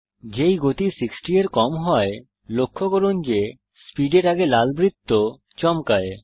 যেই গতি 60 এর কম হয় লক্ষ্য করুন যে স্পিড এর আগে লাল বৃত্ত চমকায়